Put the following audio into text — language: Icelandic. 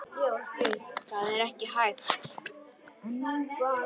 Það er ekki hægt